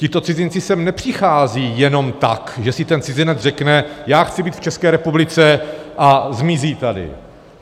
Tito cizinci sem nepřicházejí jenom tak, že si ten cizinec řekne: Já chci být v České republice, a zmizí tady.